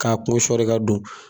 K'a kun sɔɔri ka don.